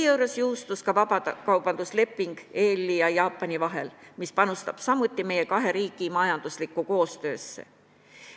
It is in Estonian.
On jõustunud ka vabakaubandusleping Euroopa Liidu ja Jaapani vahel, mis panustab samuti kahe riigi majanduslikku koostöösse.